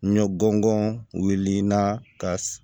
N ye gɔngɔn wuli naa ka